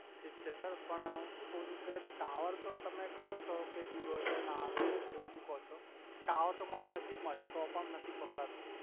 ઠીક છે સર પણ અ હુ સુ કવ છુ કે ટાવર તો તમે કહો છો કે દુર હોય તો ના આવે એવુ બાધુ કહો છો ટાવર તો મારે નજીક મા છે તો પણ નથી પકડાતુ